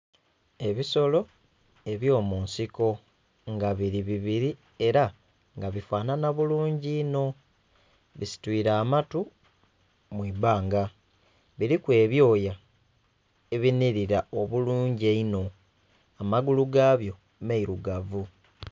Ebisolo ebyomunsiko nga biri bibiri era nga bifanhanha bulungi inho bisitwire amatu mwibbanga biriku ebyoya ebinhirira obulungi inho amagulu gabyo mailugavu.